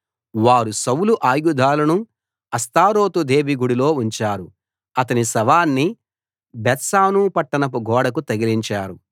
వారు సౌలు ఆయుధాలను అష్తారోతు దేవి గుడిలో ఉంచారు అతని శవాన్ని బేత్షాను పట్టణపు గోడకు తగిలించారు